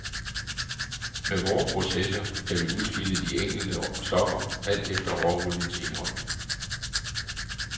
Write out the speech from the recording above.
Med vore processer kan vi udskille de enkelte stoffer alt efter råoliens indhold.